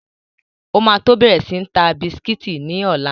O ma tó bẹ̀rẹ̀ sí ń ta bisikítì ní ọ̀la.